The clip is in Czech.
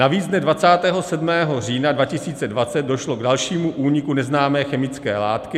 Navíc dne 27. října 2020 došlo k dalšímu úniku neznámé chemické látky.